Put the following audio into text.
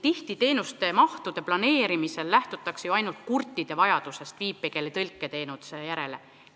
Tihti lähtutakse teenuste mahtude planeerimisel ainult kurtide vajadusest viipekeeletõlke teenuse järele.